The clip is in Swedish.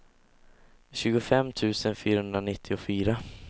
tjugofem tusen fyrahundranittiofyra